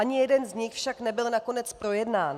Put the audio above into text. Ani jeden z nich však nebyl nakonec projednán.